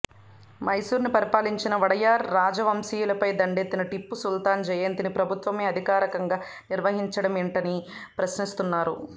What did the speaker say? మైసూరును పరిపాలించిన వడయార్ రాజవంశీయులపై దండెత్తిన టిప్పు సుల్తాన్ జయంతిని ప్రభుత్వమే అధికారికంగా నిర్వహించడమేంటని ప్రశ్నిస్తున్నారు